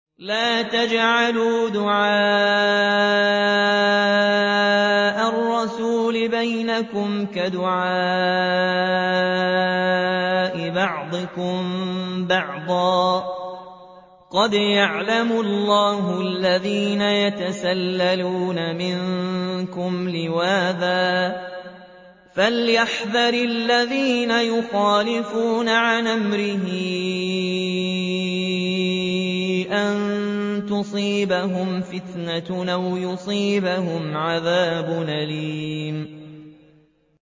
لَّا تَجْعَلُوا دُعَاءَ الرَّسُولِ بَيْنَكُمْ كَدُعَاءِ بَعْضِكُم بَعْضًا ۚ قَدْ يَعْلَمُ اللَّهُ الَّذِينَ يَتَسَلَّلُونَ مِنكُمْ لِوَاذًا ۚ فَلْيَحْذَرِ الَّذِينَ يُخَالِفُونَ عَنْ أَمْرِهِ أَن تُصِيبَهُمْ فِتْنَةٌ أَوْ يُصِيبَهُمْ عَذَابٌ أَلِيمٌ